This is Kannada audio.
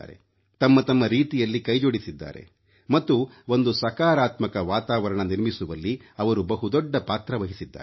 ತಮ್ಮ ತಮ್ಮ ರೀತಿಯಲ್ಲಿ ಕೈ ಜೋಡಿಸಿದ್ದಾರೆ ಮತ್ತು ಒಂದು ಸಕಾರಾತ್ಮಕ ವಾತಾವರಣ ನಿರ್ಮಿಸುವಲ್ಲಿ ಅವರು ಬಹುದೊಡ್ಡ ಪಾತ್ರವಹಿಸಿದ್ದಾರೆ